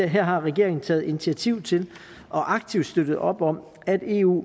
her har regeringen taget initiativ til og aktivt støttet op om at eu